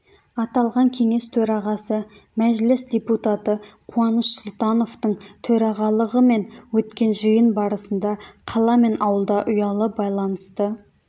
аталған кеңес төрағасы мәжіліс депутаты қуаныш сұлтановтың төрағалығымен өткен жиын барысында қала мен ауылда ұялы байланысты